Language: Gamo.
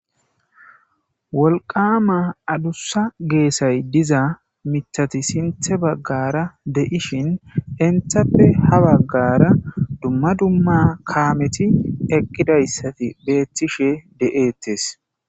Wolqama adusa gesay de7iza miththati sinththe bagara de7ishin entappe habagara dumma dumma kameti eqidaysati betishe de7etes.